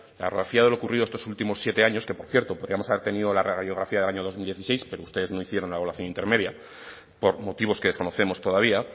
la radiografía de lo ocurrido estos últimos siete años que por cierto podíamos haber tenido la radiografía del año dos mil dieciséis pero ustedes no hicieron la evaluación intermedia por motivos que desconocemos todavía